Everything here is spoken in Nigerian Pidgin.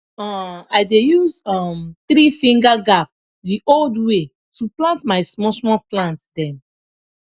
um i dey use um threefinger gap the old way to plant my smallsmall plant dem